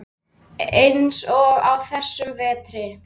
Eins og á þessum vetri.